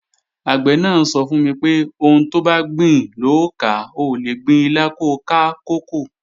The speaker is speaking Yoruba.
Àgbẹ̀ náà sọ fún mi pé, "Ohun tobá gbìn lò ó ká, o ò lè gbin ilá ko ká kókò"